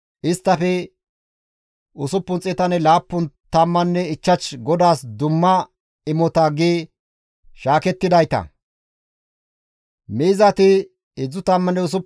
Miizati 36,000; isttafe GODAAS dumma imota gidi shaakettidayti laappun tammanne nam7a.